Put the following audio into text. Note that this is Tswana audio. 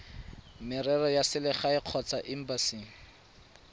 merero ya selegae kgotsa embasing